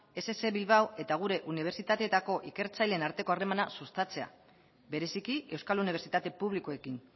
ess bilbao eta gure unibertsitateetako ikertzaileen arteko harremana sustatzea bereziki euskal unibertsitate publikoekin